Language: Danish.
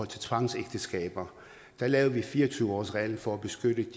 til tvangsægteskaber der lavede vi fire og tyve årsreglen for at beskytte